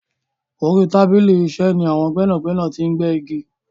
Orí tábìlì iṣẹ́ ni àwọn gbẹ́nàgbẹ́nà ti ń gbẹ́ igi.